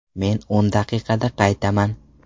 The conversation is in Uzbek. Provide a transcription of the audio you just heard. Men o‘n daqiqada qaytaman.